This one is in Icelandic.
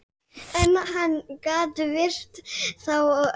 En hann gat virt þá að öðru leyti.